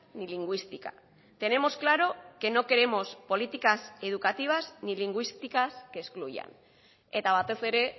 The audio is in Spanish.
ni lingüística tenemos claro que no queremos políticas educativas ni lingüísticas que excluyan eta batez ere